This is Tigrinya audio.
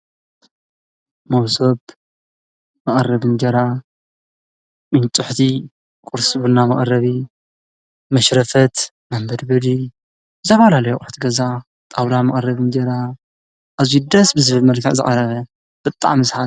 መሶብ መቀረቢ እንጀራ፣ ፍንጭሕቲ ቁርሲ ቡና መቐረቢ፣ መሽረፈት መንበድበዲ፣ ዝተፈላለዩ አቁሑት ፣ገዛ ጣዉላ መቐረቢ እንጀራ ኣዝዩ ደስ ብዝብል መልክዕ ዝቀረበ ብጣዕሚ ሰ